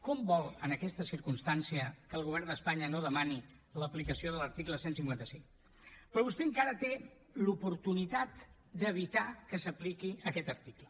com vol en aquesta circumstància que el govern d’espanya no demani l’aplicació de l’article cent i cinquanta cinc però vostè encara té l’oportunitat d’evitar que s’apliqui aquest article